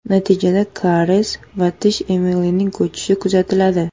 Natijada kariyes va tish emalining ko‘chishi kuzatiladi.